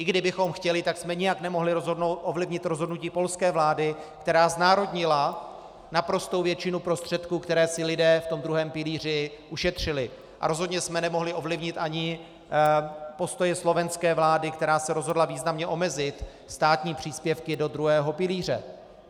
I kdybychom chtěli, tak jsme nijak nemohli ovlivnit rozhodnutí polské vlády, která znárodnila naprostou většinu prostředků, které si lidé v tom druhém pilíři ušetřili, a rozhodně jsme nemohli ovlivnit ani postoje slovenské vlády, která se rozhodla významně omezit státní příspěvky do druhého pilíře.